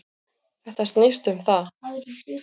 Þetta snýst um það.